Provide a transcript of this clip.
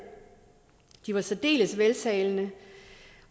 de var særdeles veltalende